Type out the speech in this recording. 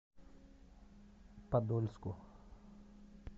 подольску